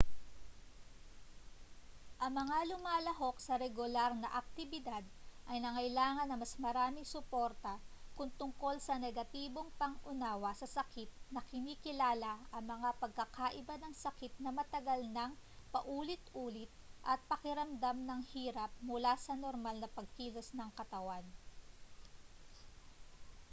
ang mga lumalahok sa regular na aktibidad ay nangailangan ng mas maraming suporta kung tungkol sa negatibong pang-unawa sa sakit na kinikilala ang mga pagkakaiba ng sakit na matagal nang paulit-ulit at pakiramdam ng hirap mula sa normal na pagkilos ng katawan